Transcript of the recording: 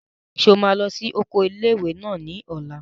Ṣé o máa lọ sí oko ilé-ìwé náà ní ọ̀la?